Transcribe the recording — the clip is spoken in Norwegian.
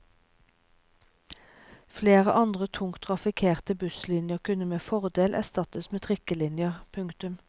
Flere andre tungt trafikkerte busslinjer kunne med fordel erstattes med trikkelinjer. punktum